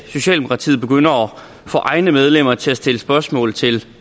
socialdemokratiet begynder at få egne medlemmer til at stille spørgsmål til